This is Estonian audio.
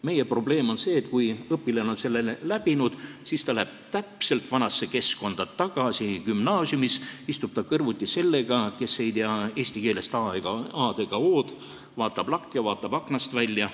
Meie probleem on see, et kui õpilane on selle läbi teinud, siis ta läheb täpselt vanasse keskkonda tagasi, gümnaasiumis istub ta kõrvuti sellega, kes ei tea eesti keelest a-d ega o-d, vaatab lakke ja aknast välja.